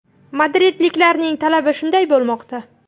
Madridliklarning talabi shunday bo‘lmoqda.